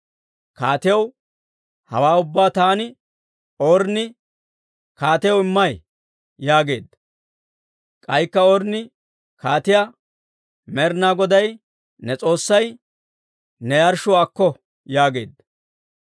Kaatiyaw, hawaa ubbaa taani Ornni kaatiyaw immay» yaageedda. K'aykka Ornni kaatiyaa, «Med'inaa Goday ne S'oossay ne yarshshuwaa akko» yaageedda.